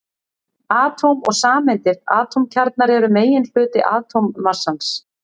Atóm og sameindir Atómkjarnar eru meginhluti atómmassans.